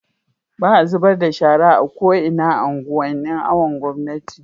baa zubarda da shara a ko'ina a unguwan nin awon gomnati